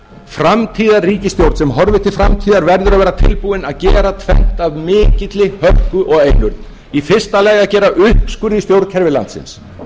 framtíðarríkisstjórn sem horfir til framtíðar verður að vera tilbúin að gera tvennt af mikilli hörku og einurð í fyrsta lagi að gera uppskurð í stjórnkerfi landsins